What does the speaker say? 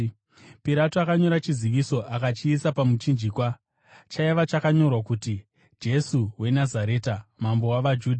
Pirato akanyora chiziviso akachiisa pamuchinjikwa. Chaiva chakanyorwa kuti: jesu wenazareta, mambo wavajudha .